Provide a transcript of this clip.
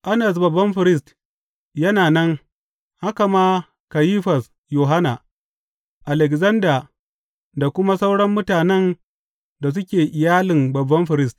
Annas babban firist yana nan, haka ma Kayifas Yohanna, Alekzanda da kuma sauran mutanen da suke iyalin babban firist.